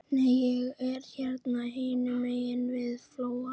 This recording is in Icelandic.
Nei, ég er hérna hinum megin við flóann.